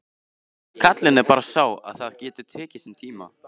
Gallinn er bara sá að það getur tekið sinn tíma.